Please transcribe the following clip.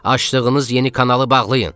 Açdığınız yeni kanalı bağlayın.